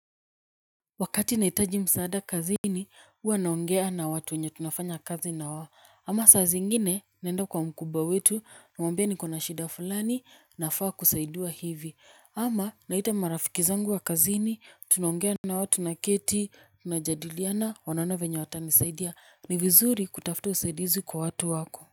Wakati naitaji msaada kazini uwa naongea na watu wenye tunafanya kazi na wao. Ama saa zingine naenda kwa mkubwa wetu namwambia niko na shida fulani nafaa kusaidiwa hivi. Ama naita marafiki zangu wa kazini tunongea nao tunaketi tunajadiliana wanaona venya watanisaidia. Ni vizuri kutafuta usaidizi kwa watu wako.